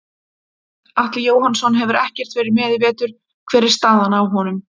Atli Jóhannsson hefur ekkert verið með í vetur hver er staðan á honum?